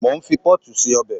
Mo ń fi pọ́ọ̀tù se ọbẹ̀